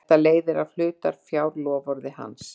Þetta leiðir af hlutafjárloforði hans.